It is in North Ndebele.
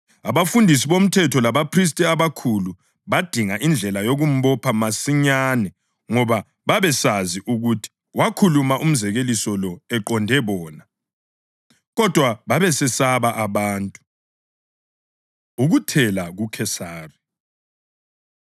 Abafundisi bomthetho labaphristi abakhulu badinga indlela yokumbopha masinyane ngoba babesazi ukuthi wakhuluma umzekeliso lo eqonde bona. Kodwa babesesaba abantu. Ukuthela KuKhesari